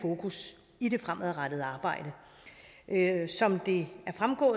fokus i det fremadrettede arbejde som det